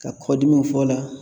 Ka kɔdimiw fɔ o la